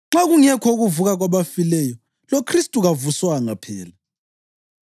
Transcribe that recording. Nxa kungekho ukuvuka kwabafileyo, loKhristu kavuswanga phela.